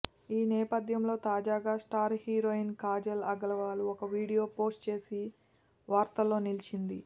ఈ నేపథ్యంలో తాజాగా స్టార్ హీరోయిన్ కాజల్ అగర్వాల్ ఓ వీడియో పోస్ట్ చేసి వార్తల్లో నిలిచింది